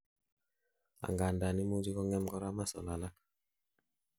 angandan imuchi kongem korak muscles alak